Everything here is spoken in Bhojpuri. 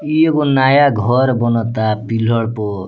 इ एगो नाया घर बनता पिलर प।